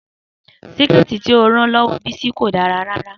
Síkẹ̀tí tí ó rán lọ́wọ́ Bisi kò dára rárá